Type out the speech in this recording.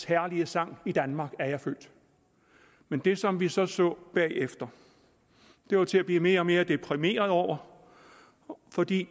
herlige sang i danmark er jeg født men det som vi så så bagefter var til at blive mere og mere deprimeret over fordi